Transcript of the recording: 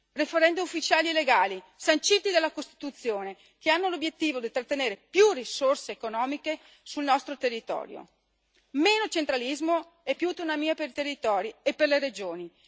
Referendum ufficiali e legali, sanciti dalla Costituzione, che hanno l'obiettivo di trattenere più risorse economiche sul nostro territorio meno centralismo e più autonomia per i territori e per le regioni.